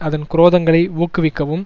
அதன் குரோதங்களை ஊக்குவிக்கவும்